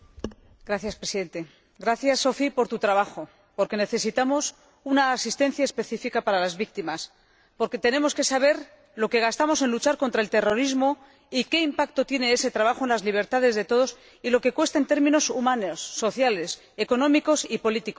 Gracias, Sophia, por tu trabajo, porque necesitamos una asistencia específica para las víctimas, porque tenemos que saber lo que gastamos en luchar contra el terrorismo, qué impacto tiene ese trabajo en las libertades de todos y cuánto cuesta en términos humanos, sociales, económicos y políticos.